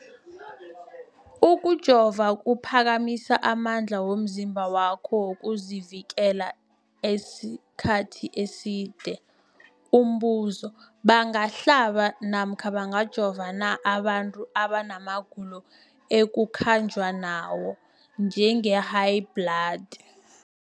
Ukujova kuphakamisa amandla womzimbakho wokuzivikela isikhathi eside. Umbuzo, bangahlaba namkha bangajova na abantu abana magulo ekukhanjwa nawo, njengehayibhladi?